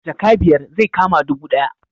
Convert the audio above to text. Jaka biyar zai kama dubu ɗaya